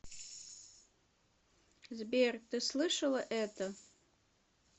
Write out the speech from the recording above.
сбер ты слышала это